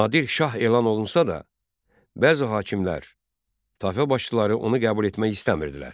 Nadir Şah elan olunsa da, bəzi hakimlər, Təfə başçıları onu qəbul etmək istəmirdilər.